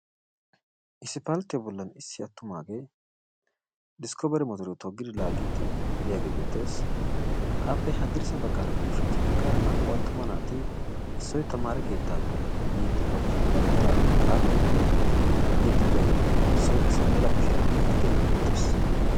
Isppaltte bollan issi attumaagee Diskkobere motoriyo toggidi laaggidi biyaagee beettees. Appe haddirssa baggaaranne ushachcha baggaara na''u attuma naati issoy tamaare keettaappe yiyddi bari kushiyaan dawutaraa xaaxi oyqqidi yiyddi diyaagee issoy qassi mela kushiyaara yiyddi diyaage bettees.